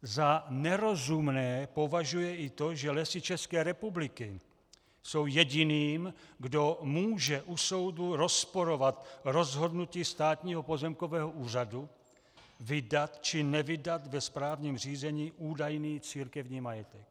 Za nerozumné považuje i to, že Lesy České republiky jsou jediným, kdo může u soudu rozporovat rozhodnutí Státního pozemkového úřadu vydat či nevydat ve správním řízení údajný církevní majetek.